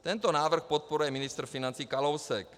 Tento návrh podporuje ministr financí Kalousek.